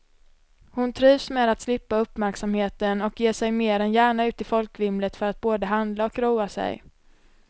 Hon trivs med att slippa uppmärksamheten och ger sig mer än gärna ut i folkvimlet för att både handla och roa sig.